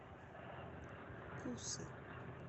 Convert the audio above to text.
кусы